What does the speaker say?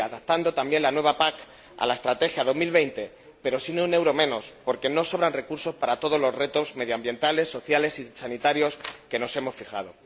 Sí, adaptando también la nueva PAC a la estrategia 2020, pero sin un euro menos, porque no sobran recursos para todos los retos medioambientales, sociales y sanitarios que nos hemos fijado.